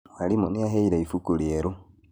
Mwarimũ nĩaheire ibuku rĩerũ